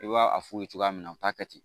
I b'a a f'u ye cogoya min na u t'a kɛ ten